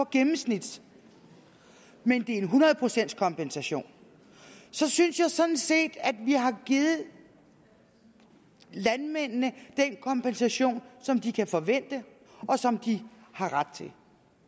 gennemsnit men det er en hundrede procents kompensation så synes jeg sådan set vi har givet landmændene den kompensation som de kan forvente og som de har ret til